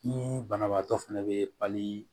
Ni banabaatɔ fɛnɛ be pali